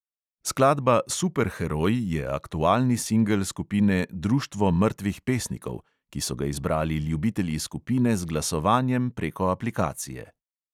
Skladba superheroj je aktualni singel skupine društvo mrtvih pesnikov, ki so ga izbrali ljubitelji skupine z glasovanjem preko aplikacije.